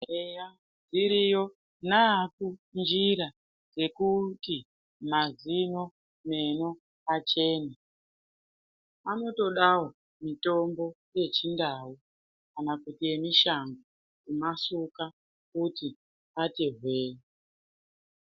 Eya iriyo njira yekuti mazino meno achene. Anotodawo mitombo yechindau kana kuti yemushango kumasuka kuti ati hwee.